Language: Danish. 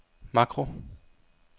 makro